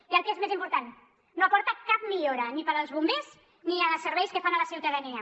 i el que és més important no aporta cap millora ni per als bombers ni en els serveis que fan a la ciutadania